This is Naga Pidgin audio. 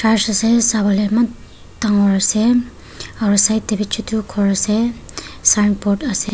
church ase sabole eman dangor ase aru side teh bhi chotu ghor ase signboard ase.